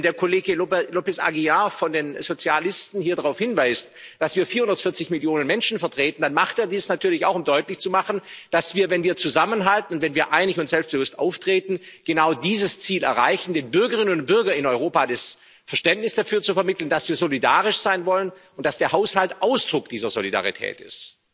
Wenn der Kollege López Aguilar von den Sozialisten hier darauf hinweist, dass wir vierundvierzig Millionen Menschen vertreten, dann macht er dies natürlich auch, um deutlich zu machen, dass wir, wenn wir zusammenhalten, wenn wir einig und selbstbewusst auftreten, genau dieses Ziel erreichen den Bürgerinnen und Bürgern in Europa das Verständnis dafür zu vermitteln, dass wir solidarisch sein wollen und dass der Haushalt Ausdruck dieser Solidarität ist.